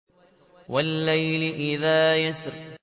وَاللَّيْلِ إِذَا يَسْرِ